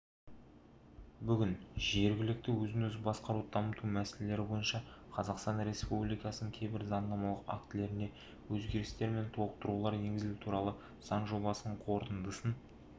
бүгін жергілікті өзін-өзі басқаруды дамыту мәселелері бойынша қазақстан республикасының кейбір заңнамалық актілеріне өзгерістер мен толықтырулар енгізу туралы заң жобасының қорытындысын